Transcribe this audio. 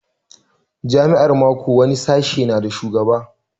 A jami'a ma ko wani sashe na da shugaba